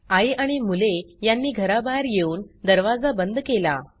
आई आणि मुले यांनी घराबाहेर येऊन दरवाजा बंद केला